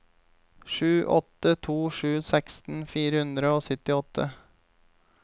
sju åtte to sju seksten fire hundre og syttiåtte